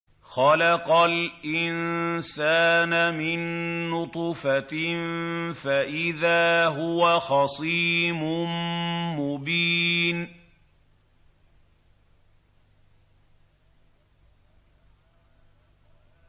خَلَقَ الْإِنسَانَ مِن نُّطْفَةٍ فَإِذَا هُوَ خَصِيمٌ مُّبِينٌ